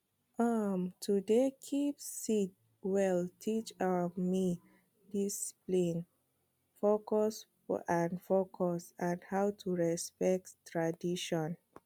um to dey keep seed well teach um me discipline focus and focus and how to respect tradition